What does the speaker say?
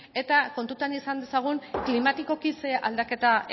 eta kontuan izan dezagun klimatikoki zer aldaketa